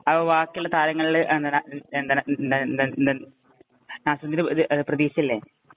അപ്പൊ ബാക്കിയുള്ള താരങ്ങളില് എന്താ എന്താണ് എന്താണ് നാസിമുദ്ദീന് പ്രതീക്ഷയില്ലേ?